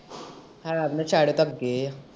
ਹੈ ਵੀ ਤੇ ਸਾਰੇ ਤਬਕੇ ਆ।